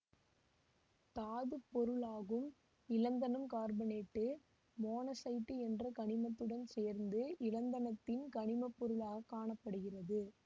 தாதுப்பொருளாகும் இலந்தனம் carbonate monazite என்ற கனிமத்துடன் சேர்ந்து இலந்தனத்தின் கனிமப்பொருளாகக் காண படுகிறது